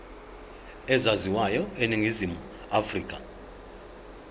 ezaziwayo eningizimu afrika